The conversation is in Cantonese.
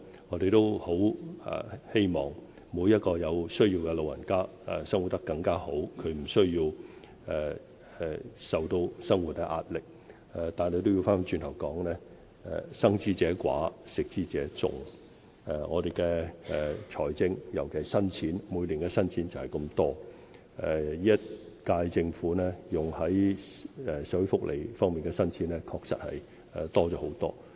我們也很希望每個有需要的老人家可以生活得更好，無需受到生活壓力，但話說回來，"生之者寡，食之者眾"，我們的財政資源就是這麼多，而本屆政府投放於社會福利方面的新錢確實已增加了很多。